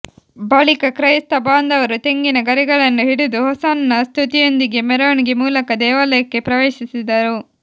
ಬಳಿಕ ಕ್ರೈಸ್ತ ಬಾಂಧವರು ತೆಂಗಿನ ಗರಿಗಳನ್ನು ಹಿಡಿದು ಹೋಸನ್ನಾ ಸ್ತುತಿಯೊಂದಿಗೆ ಮೆರವಣಿಗೆ ಮೂಲಕ ದೇವಾಲಯಕ್ಕೆ ಪ್ರವೇಶಿಸಿದರು